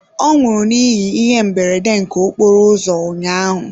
Ọ nwụrụ n'ihi ihe mberede nke okporo ụzọ ụnyaahụ.